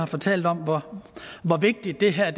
fortalt om hvor vigtigt det her er